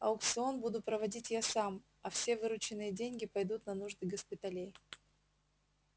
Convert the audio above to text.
аукцион буду проводить я сам а все вырученные деньги пойдут на нужды госпиталей